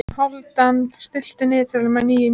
Hálfdan, stilltu niðurteljara á níu mínútur.